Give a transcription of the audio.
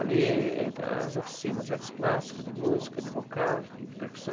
Ali é entram as oficinas, artes plásticas, de música, de vocal, de de percussão.